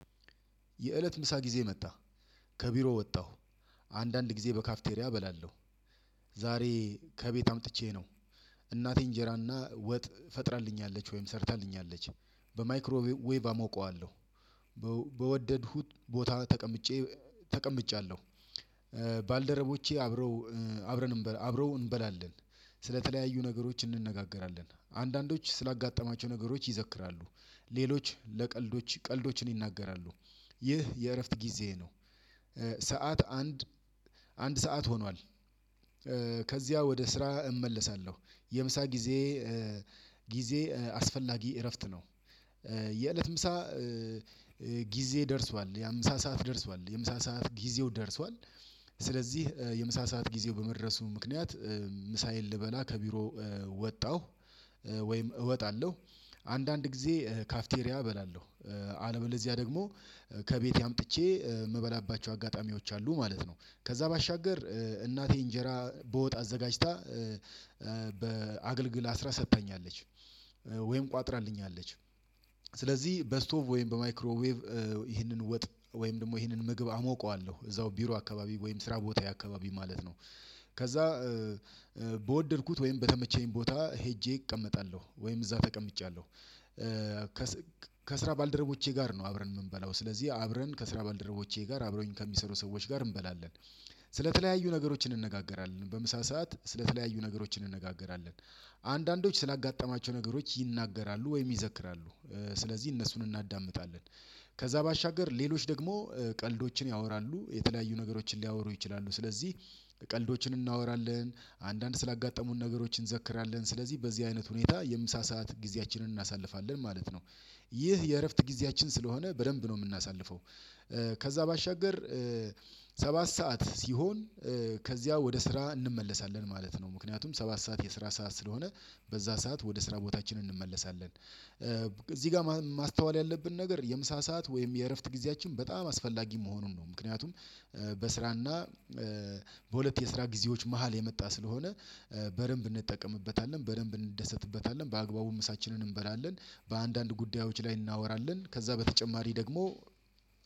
የእለት ምሳ ጊዜ መጣ ከቢሮ ወጣሁ አንዳንድ ጊዜ በካፍቴሪያ እበላለሁ። ዛሬ ከቤት አምጥቼ ነው እናቴ እንጀራና ወጥ ፈጥራልኛለች ወይም ሰርታልኛለች በማይክሮ ዌቭ አሞቀዋለሁ። በወደድኩት ቦታ ተቀምጬ ተቀምጫለሁ ባልደረቦቼ አብረው አብረን አብረው እንበላለን። ስለተለያዩ ነገሮች እንነጋገራለን አንዳንዶች ስላጋጠማቸው ነገሮች ይዘክራሉ ሌሎች ለቀልዶች ቀልዶችን ይናገራሉ። ይህ የእረፍት ጊዜ ነው። ሰዓት አንድ አንድ ሰዓት ሆኗል። ከዚያ ወደ ስራ እመለሳለሁ የምሳ ጊዜ ጊዜ አስፈላጊ እረፍት ነው። የእለት ምሳ ጊዜ ደርሷል የምሳ ሰዓት ደርሷል የምሳ ሰዓት ጊዜው ደርሷል። ስለዚህ የምሳ ሰዓት ጊዜው በመድረሱ ምክንያት ምሳዬን ልበላ ከቢሮ ወጣሁ። ወይም እወጣለሁ አንዳንድ ጊዜ ካፍቴሪያ እበላለሁ። አለበለዚያ ደግሞ ከቤቴ አምጥቼ እምበላባቸው አጋጣሚዎች አሉ ማለት ነው። ከዛ ባሻገር እናቴ እንጀራ በወጥአዘጋጅታ በአገልግል አስራ ሰጥተኛለች ወይም ቋጥራልኛለች። ስለዚህ በስቶቭ ወይም በማይክሮዌቭ ይህንን ወጥ ወይም ደግሞ ይህንን ምግብ አሞቀዋለሁ እዛው ቢሮ አካባቢ ወይም ስራ ቦታ ያ አካባቢ ማለት ነው። ከዛ በወደድኩት ወይም በተመቸኝ ቦታ ሄጄ እቀመጣለሁ ወይም እዛ ተቀምጫለሁ። ከስራ ባልደረቦቼ ጋር ነው አብረን የምንበላው ስለዚህ አብረን ከስራ ባልደረቦቼ ጋር አብረን ከሚሰሩ ሰዎች ጋር እንበላለን። ስለተለያዩ ነገሮችን እንነጋገራለን በምሳ ሰዓት ስለተለያዩ ነገሮችን እንነጋገራለን። አንዳንዶች ስላጋጠማቸው ነገሮች ይናገራሉ ወይም ይዘክራሉ ስለዚህ እነሱን እናዳምጣለን። ከዛ ባሻገር ሌሎች ደግሞ ቀልዶችን ያወራሉ የተለያዩ ነገሮችን ሊያወሩ ይችላሉ ስለዚህ። ቀልዶችን እናወራለን አንዳንድ ስላጋጠሙን ነገሮችን እንዘክራለን ስለዚህ በዚህ አይነት ሁኔታ የምሳ ሰዓት ጊዜያችንን እናሳልፋለን ማለት ነው። ይህ የእረፍት ጊዜያችን ስለሆነ በደንብ ነው የምናሳልፈው። ከዛ ባሻገር ሰባት ሰዓት ሲሆን ከዚያ ወደ ስራ እንመለሳለን ማለት ነው። ምክንያቱም ሰባት ሰዓት የስራ ሰዓት ስለሆነ በዛ ሰዓት ወደ ስራ ቦታችን እንመለሳለን እዚህ ጋር ማስተዋል ያለብን ነገር የምሳ ሰዓት ወይም የእረፍት ጊዜያችን በጣም አስፈላጊ መሆኑን ነው ምክንያቱም በስራና በሁለት የስራ ጊዜዎች መሃል የመጣ ስለሆነ በደንብ እንጠቀምበታለን በደንብ እንደሰትበታለን በአግባቡ ምሳችንን እንበላለን። በአንዳንድ ጉዳዮች ላይ እናወራለን ከዛ በተጨማሪ ደግሞ